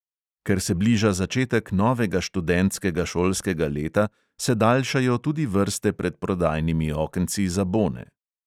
Ker se bliža začetek novega študentskega šolskega leta, se daljšajo tudi vrste pred prodajnimi okenci za bone.